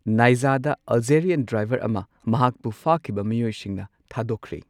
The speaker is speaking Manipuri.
ꯅꯥꯏꯖꯥꯗ ꯑꯜꯖꯦꯔꯤꯌꯟ ꯗ꯭ꯔꯥꯢꯚꯔ ꯑꯃ ꯃꯍꯥꯛꯄꯨ ꯐꯥꯈꯤꯕ ꯃꯤꯑꯣꯢꯁꯤꯡꯅ ꯊꯥꯗꯣꯛꯈ꯭ꯔꯦ꯫